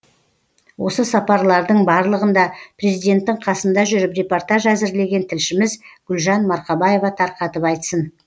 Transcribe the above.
осы сапарлардың барлығында президенттің қасында жүріп репортаж әзірлеген тілшіміз гүлжан марқабаева тарқатып айтсын